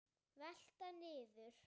Velta niður.